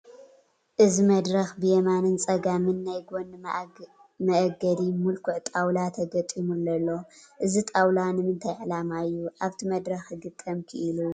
እዚ መድረኽ ብየማንን ፀጋምን ናይ ጐኒ መአገዲ ምልኩዕ ጣውላ ተገጢሙሉ ኣሎ፡፡ እዚ ጣውላ ንምንታይ ዕላማ እዩ ኣብቲ መድረኽ ክግጠም ክኢሉ?